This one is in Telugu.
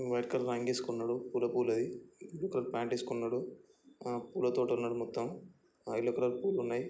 వైట్ కలర్ ఆంగి ఏస్కున్నాడు పులా పులది బ్లుకర్ పాంట్ ఏస్కున్నాడు ఆహ్ పూల తోట ఉన్నాది మొత్తం యెల్లో కలర్ పులు ఉన్నయ్.